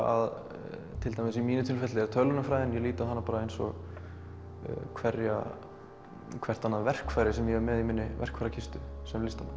að til dæmis í mínu tilfelli tölvunarfræði ég lít á hana eins og hvert hvert annað verkfæri sem ég er með í minni verkfærakistu sem listamaður